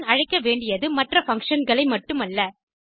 function அழைக்க வேண்டியது மற்ற functionகளை மட்டுமல்ல